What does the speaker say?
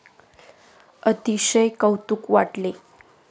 अतिशय कौतूक वाटले.